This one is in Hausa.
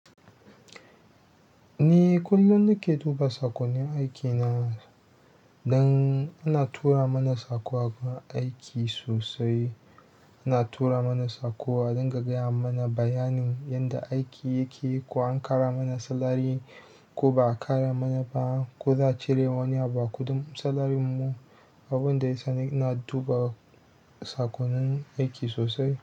Ni kullum nake duba saƙonnin aikina, dan ana tura mana saƙo a gurin aiki sosai. Ana tura mana saƙo a ringa gaya mana bayanin yanda aiki yake ko an ƙara mana salari ko ba a ƙara mana ba ko za a cire wani abu a kuɗin salarinmu. Abun da ya sa na ina dubawa saƙonnin aiki sosai.